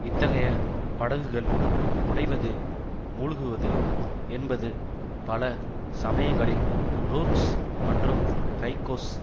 இத்தகைய படகுகள் உடைவது மூழ்குவது என்பது பல சமயங்களில் ருர்க்ஸ் மற்றும் கைக்கோஸ்